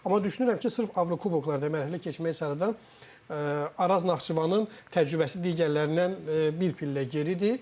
Amma düşünürəm ki, sırf Avrokuboklarda mərhələ keçmək sarıdan Araz Naxçıvanın təcrübəsi digərlərindən bir pillə geridir.